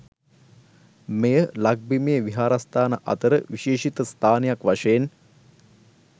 මෙය ලක්බිමේ විහාරස්ථාන අතර විශේෂිත ස්ථානයක් වශයෙන්